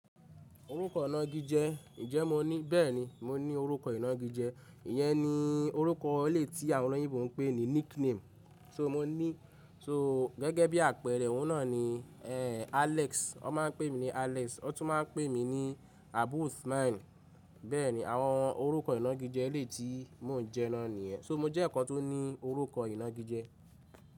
Orúkọ ọ̀nà gíjẹ, ǹjẹ́ mo ní? Bẹ́ẹ̀ni, mo ní orúkọ inà gíjẹ. Ìyẹn ni orúkọ ele tí àwọn ọ̀loyinbo ń pè ní nickname. So mo ní, so gẹ́gẹ́ bí àpẹẹrẹ ọ̀un no ni, eh, Alex. O máa ń pè mí ní Alex, wọ́n tún máa ń pè mí ní Abusmyn Bẹ́ẹ̀ni, àwọn orúkọ ina gíjẹ elè tí mo ń jẹ́ na niyen So mo jẹ́ ọ̀kan tó ní orúkọ inà gíjẹ.